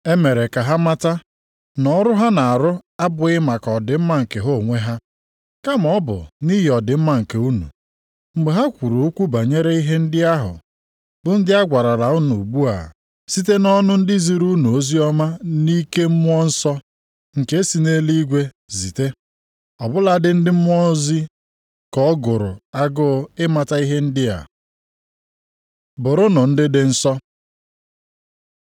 E mere ka ha mata na ọrụ ha na-arụ abụghị maka ọdịmma nke ha onwe ha, kama ọ bụ nʼihi ọdịmma nke unu, mgbe ha kwuru okwu banyere ihe ndị a ahụ bụ ndị a gwarala unu ugbu a site nʼọnụ ndị ziri unu oziọma nʼike Mmụọ Nsọ nke e si nʼeluigwe zite. Ọ bụladị ndị mmụọ ozi ka ọ gụrụ agụụ ịmata ihe ndị a. Bụrụnụ ndị dị nsọ